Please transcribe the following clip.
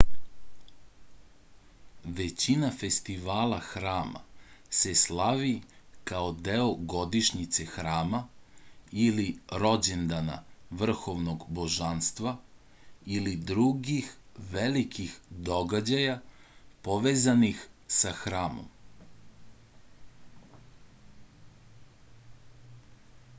većina festivala hrama se slavi kao deo godišnjice hrama ili rođendana vrhovnog božanstva ili drugih velikih događaja povezanih sa hramom